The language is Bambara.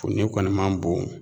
Funin kɔni man bon